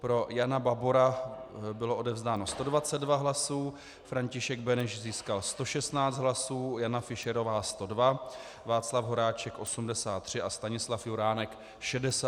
Pro Jana Babora bylo odevzdáno 122 hlasů, František Beneš získal 116 hlasů, Jana Fischerová 102, Václav Horáček 83 a Stanislav Juránek 68 hlasů.